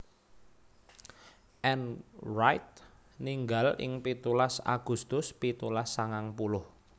Ann Wright ninggal ing pitulas Agustus pitulas sangang puluh